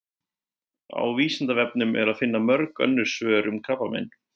Á Vísindavefnum er að finna mörg önnur svör um krabbamein.